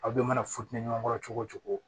Aw bɛɛ mana funteni ɲɔgɔn kɔrɔ cogo o cogo